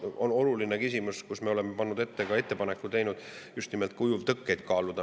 Varustus on oluline küsimus ja me oleme pannud ette, teinud ettepaneku just nimelt ujuvtõkkeid kaaluda.